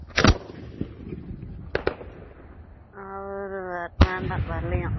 அவரு வேண்~ வேண்டாம் வரலையாம்